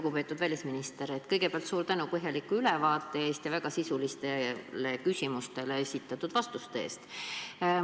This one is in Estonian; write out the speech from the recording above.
Lugupeetud välisminister, kõigepealt suur tänu põhjaliku ülevaate eest ja väga sisulistele küsimustele esitatud vastuste eest!